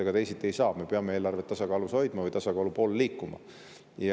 Ega teisiti ei saa, me peame eelarvet tasakaalus hoidma või eelarve tasakaalu poole liikuma.